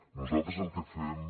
nosaltres el que fem